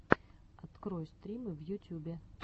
открой стримы в ютюбе